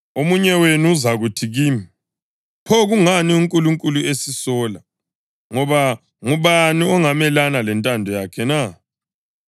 Omunye wenu uzakuthi kimi: “Pho kungani uNkulunkulu esisola? Ngoba ngubani ongamelana lentando yakhe na?”